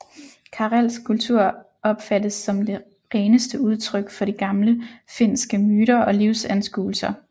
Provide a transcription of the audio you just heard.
Karelsk kultur opfattes som det reneste udtryk for de gamle finske myter og livsanskuelser